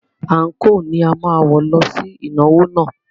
Ànko ni a máa wọ̀ lọ sí ìnáwó náà.